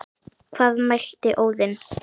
Hvað mælti Óðinn